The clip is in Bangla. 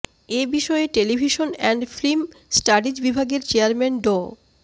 এ বিষয়ে টেলিভিশন অ্যান্ড ফিল্ম স্টাডিজ বিভাগের চেয়ারম্যান ড